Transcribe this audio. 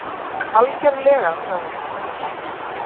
Algjörlega, sagði hún.